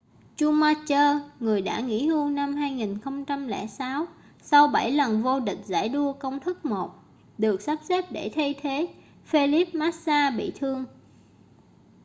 schumacher người đã nghỉ hưu năm 2006 sau bảy lần vô địch giải đua công thức 1 được sắp xếp để thay thế felipe massa bị thương